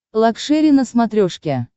лакшери на смотрешке